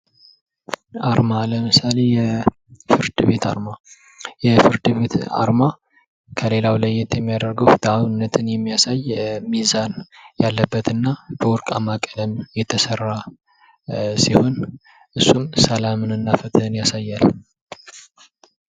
አርማ ለምስሌ የፍርድ ቤት አርማ: የፍርድ ቤት አርማ ከሌላው ለየት የሚያደርገው ፍትሃዊነትን የሚያሳይ ሚዛን ያለበት እና በወርቃማ ቀለም የተሰራ ሲሆን እሱም ሰላምን እና ፍትህን ያሳያል::